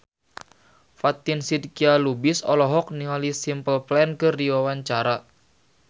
Fatin Shidqia Lubis olohok ningali Simple Plan keur diwawancara